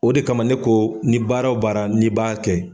O de kama ne ko ni baara baara ni b' kɛ.